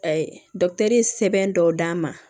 sɛbɛn dɔw d'a ma